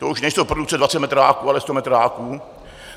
To už nejsou produkce 20 metráků, ale 100 metráků.